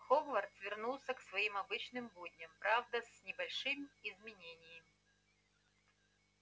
хогвартс вернулся к своим обычным будням правда с небольшими изменениями